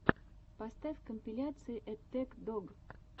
поставь компиляции эттэк дог